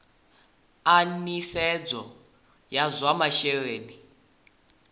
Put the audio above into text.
a nisedzo ya zwa masheleni